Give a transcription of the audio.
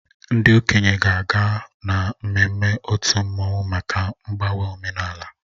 Ndị okenye ga-aga na mmemme otu mmanwụ maka mgbanwe omenala